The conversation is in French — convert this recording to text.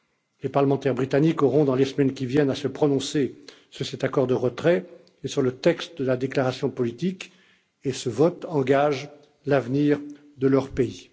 Les parlementaires britanniques auront dans les semaines qui viennent à se prononcer sur cet accord de retrait et sur le texte de la déclaration politique et ce vote engage l'avenir de leur pays.